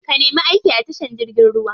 Ka nemi aiki a tashar jirgin ruwa.